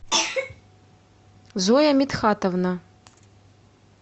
зоя мидхатовна